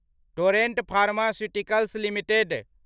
torrent pharmaceuticals limited